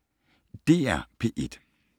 DR P1